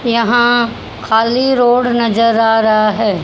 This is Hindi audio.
यहां खाली रोड नजर आ रहा है।